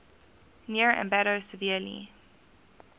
near ambato severely